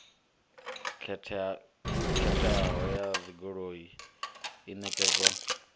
khetheaho ya dzigoloi i ṋekedzwa